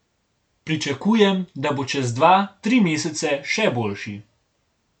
Pričakujem, da bo čez dva, tri mesece še boljši.